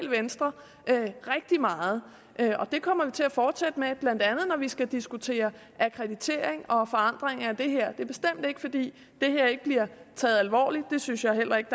venstre rigtig meget og det kommer vi til at fortsætte med blandt andet når vi skal diskutere akkreditering og forandring af det her det er bestemt ikke fordi det her ikke bliver taget alvorligt det synes jeg heller ikke